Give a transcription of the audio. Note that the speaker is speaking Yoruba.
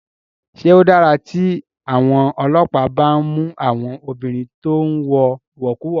Ṣé ó dára tí àwọn ọlọ́pàá bá ń mú àwọn obìnrin tó ń wọ ìwọ̀kuwọ̀?